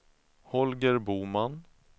Holger Boman